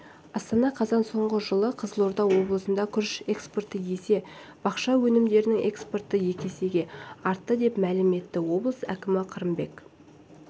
астана қазан соңғы жылы қызылорда облысында күріш экспорты есе бақша өнімдерінің экспорты есеге артты деп мәлім етті облыс әкімі қырымбек